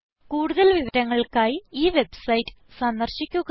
കൂടുതൽ വിവരങ്ങൾക്കായി ഈ വെബ്സൈറ്റ് സന്ദർശിക്കുക